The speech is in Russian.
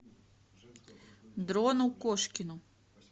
дрону кошкину